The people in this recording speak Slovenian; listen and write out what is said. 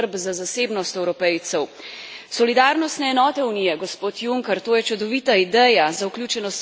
Solidarnostne enote Unije, gospod Juncker, to je čudovita ideja za vključenost mladih in pomoč ljudem v stiski.